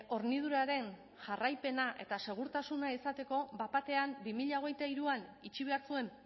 horniduraren jarraipena eta segurtasuna izateko bat batean bi mila hogeita hiruan itxi behar zuen